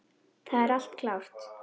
Það er allt klárt.